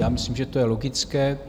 Já myslím, že to je logické.